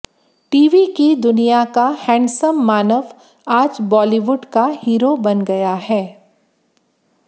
TV की दुनिया का हैंडसम मानव आज बॉलीवुड का हीरो बन गया है